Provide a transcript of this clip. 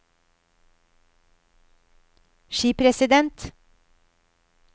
skipresident